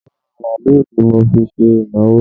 Orí màálù ni mo fi ṣe ìnáwó